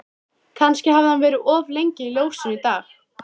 Kannski hafði hann verið of lengi í ljósunum í dag.